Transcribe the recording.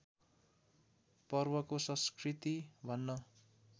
पर्वको संस्कृति भन्न